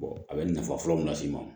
a bɛ nafa fɔlɔ min las'i ma